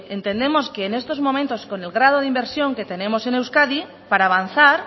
entendemos que en estos momentos con el grado de inversión que tenemos en euskadi para avanzar